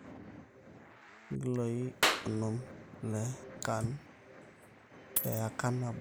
ilkiloi onom le CAN teika nabo